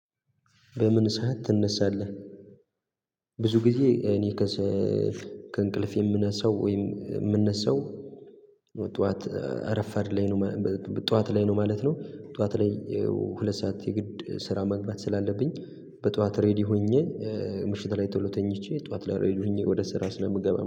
በምን ሰዓት ትነሳለህ? ብዙ ጊዜ እኔ ከእንቅልፍ የምነሳው ወይም የምነሳው ጠዋት እረፋድ ላይ ነው ጠዋት ላይ ነው ማለት ነው። ጠዋት ላይ ሁለት ሰዓት የግድ ስራ መግባት ስላለብኝ በጠዋት ሬዲ ሆኜ ምሽት ላይ ቶሎ ተኝቼ ጠዋት ሬዲ ሆኜ ወደ ስራ ስለምገባ